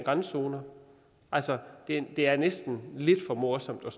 randzoner altså det er næsten lidt for morsomt at